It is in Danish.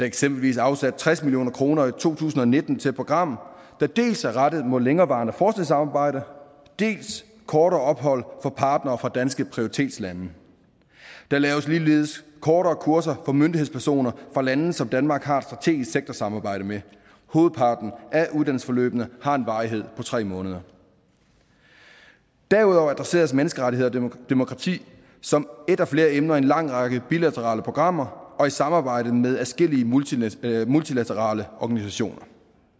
eksempelvis afsat tres million kroner i to tusind og nitten til et program der dels er rettet mod længerevarende forskningssamarbejde dels kortere ophold for partnere fra danske prioritetslande der laves ligeledes kortere kurser for myndighedspersoner fra lande som danmark har et strategisk sektorsamarbejde med hovedparten af uddannelsesforløbene har en varighed på tre måneder derudover adresseres menneskerettigheder og demokrati som et af flere emner i en lang række bilaterale programmer og i samarbejde med adskillige multilaterale multilaterale organisationer